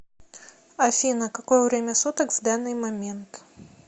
афина какое время суток в данный момент